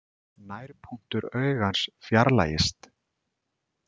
Nærpunktur augans fjarlægist.